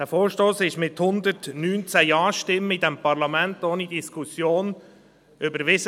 Dieser Vorstoss wurde von diesem Parlament mit 119 Ja-Stimmen ohne Diskussion überwiesen.